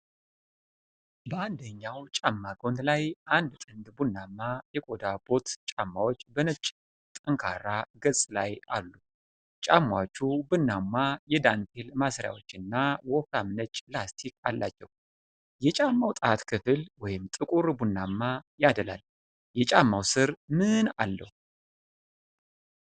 በአንደኛው ጫማ ጎን ላይ አንድ ጥንድ ቡናማ የቆዳ ቦት ጫማዎች በነጭ ጠንካራ ገጽ ላይ አሉ። ጫማዎቹ ቡናማ የዳንቴል ማሰሪያዎች እና ወፍራም ነጭ ላስቲክ አላቸው። የጫማው ጣት ክፍል ወደ ጥቁር ቡናማ ያደላል። የጫማው ስር ምን አለው?